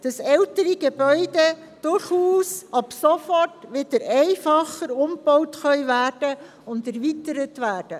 Ältere Gebäude dürfen ab sofort wieder einfach umgebaut und erweitert werden.